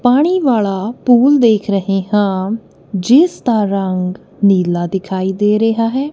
ਪਾਣੀ ਵਾਲਾ ਪੂਲ ਦੇਖ ਰਹੇ ਹਾਂ ਜਿਸਦਾ ਰੰਗ ਨੀਲਾ ਦਿਖਾਈ ਦੇ ਰਿਹਾ ਹੈ।